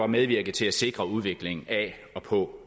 medvirke til at sikre udviklingen af og på